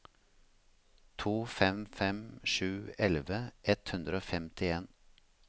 to fem fem sju elleve ett hundre og femtien